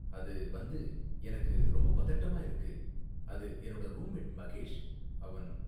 அது வந்து.. எனக்கு ரொம்ப பதட்டமா இருக்கு.. அது, என்னோட ரூம் மேட் மகேஷ்.. அவன்..